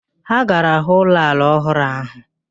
Ha gara hụ ụlọ ala ọhụrụ ahụ